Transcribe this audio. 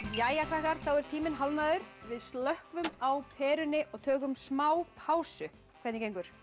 jæja krakkar þá er tíminn hálfnaður við slökkvum á perunni og tökum smá pásu hvernig gengur